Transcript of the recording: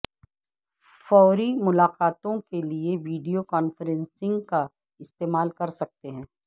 فوری ملاقاتوں کے لئے ویڈیو کانفرنسنگ کا استعمال کر سکتے ہیں